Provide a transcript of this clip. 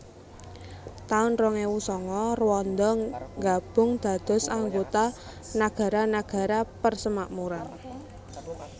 taun rong ewu sanga Rwanda nggabung dados anggota Nagara Nagara Persemakmuran